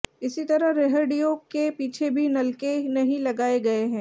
इसी तरह रेहडि़यों के पीछे भी नलके नहीं लगाए गए हैं